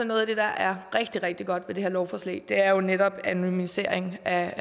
noget af det der er rigtig rigtig godt i det her lovforslag er jo netop anonymiseringen af